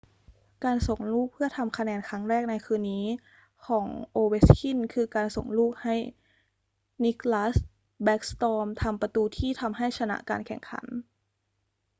การส่งลูกเพื่อทำคะแนนครั้งแรกในคืนนี้ของ ovechkin คือ การส่งลูกให้ nicklas backstrom ทำประตูที่ทำให้ชนะการแข่งขัน